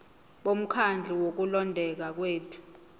bomkhandlu wokulondeka kwethu